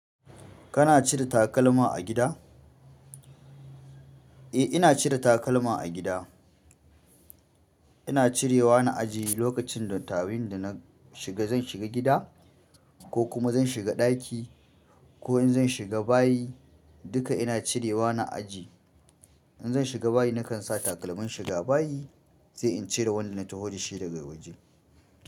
Kana cire takalma a gida? Eh ina cire takalma a gida. Ina cirewa na ajiye lokacin da tawin da na shiga zan shiga gida ko kuma zan shiga ɗaki ko in zan shiga bayi duka ina cirewa na ajiye. In zan shiga bayi nakan sa takalmin shiga bayi sai in cire wanda na taho da shi daga waje.